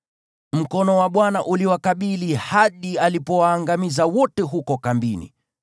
Mkono wa Bwana uliwakabili hadi alipowaangamiza wote huko kambini.